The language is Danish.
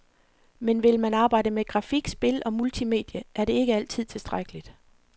Men vil man arbejde med grafik, spil og multimedie, er det ikke altid tilstrækkeligt.